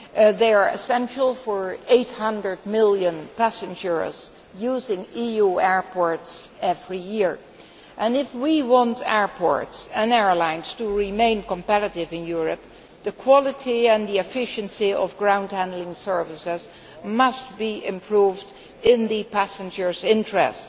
They are essential for 800 million passengers using EU airports every year, and if we want airports and airlines to remain competitive in Europe, the quality and the efficiency of ground handling services must be improved, in the passengers' interest.